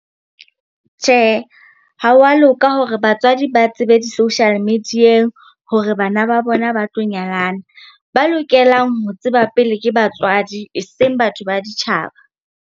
Tjhe, ha wa loka hore batswadi ba tsebe di-social media-eng hore bana ba bona ba tlo nyalana. Ba lokelang ho tseba pele ke batswadi, eseng batho ba ditjhaba.